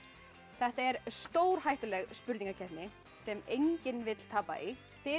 þetta er stórhættuleg spurningakeppni sem enginn vill tapa í þið